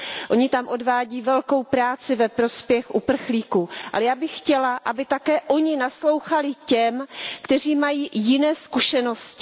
Oni tam odvádějí velikou práci ve prospěch uprchlíků, ale já bych chtěla, aby také oni naslouchali těm, kteří mají jiné zkušenosti.